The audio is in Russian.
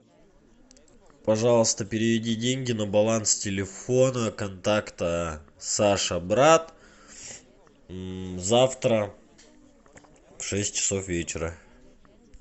пожалуйста переведи деньги на баланс телефона контакта саша брат завтра в шесть часов вечера